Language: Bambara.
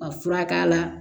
Ka fura k'a la